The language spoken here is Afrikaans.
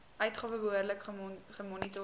uitgawe behoorlik gemonitor